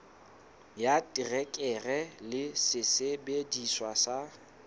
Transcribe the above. ya terekere le sesebediswa sa